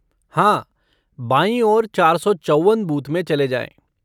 हाँ, बाईं ओर चार सौ चौवन बूथ में चले जाएँ।